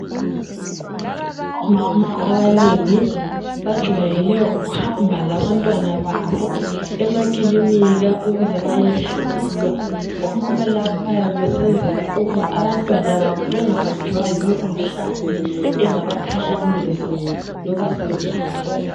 Omama abanengi bajwayele ukuhamba labantwana babo emakilinika ukuze bayehlolwa. Omama laba bayabe besenzela ukuba abantwana babo bengabanjwa yimikhuhlane engabakhahlameza loba sebekhulile.